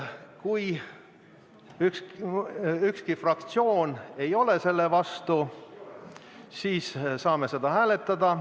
Kui ükski fraktsioon ei ole selle vastu, siis saame seda hääletada.